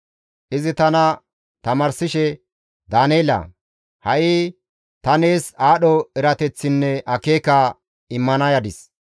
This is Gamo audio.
Izi tana tamaarsishe, «Daaneela! Ha7i ta nees aadho erateththinne akeeka immana yadis.